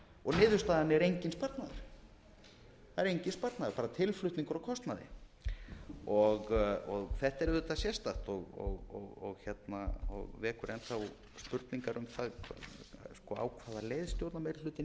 og niðurstaðan er enginn sparnaður bara tilflutningur á kostnaði þetta er auðvitað sérstakt og vekur enn þá spurningar um það á hvaða leið stjórnarmeirihlutinn er